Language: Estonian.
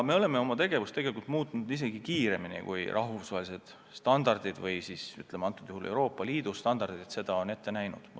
Me oleme oma tegevust tegelikult muutnud isegi kiiremini, kui rahvusvahelised standardid või, ütleme, konkreetsel juhul Euroopa Liidu standardid seda on ette näinud.